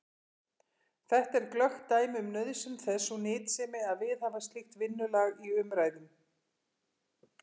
Þetta er glöggt dæmi um nauðsyn þess og nytsemi að viðhafa slíkt vinnulag í umræðum.